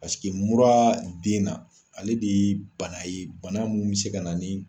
mura den na ale de ye bana ye bana min bɛ se ka na ni